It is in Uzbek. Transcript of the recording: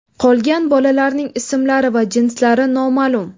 Qolgan bolalarining ismlari va jinslari noma’lum.